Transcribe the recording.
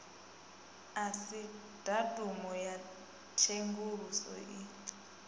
asi datumu ya tshenguluso i